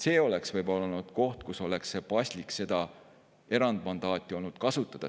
See oleks võinud olla koht, kus oleks olnud paslik seda erandmandaati kasutada.